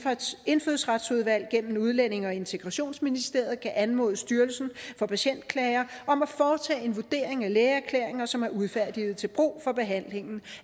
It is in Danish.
indfødsretsudvalget gennem udlændinge og integrationsministeriet kan anmode styrelsen for patientklager om at foretage en vurdering af lægeerklæringer som er udfærdiget til brug for behandling